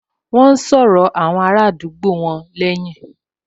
Wọ́n n sọ̀rọ̀ àwọn ará àdúgbò wọn lẹ́hìn